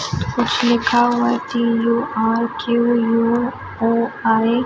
कुछ हुआ U R K U O I --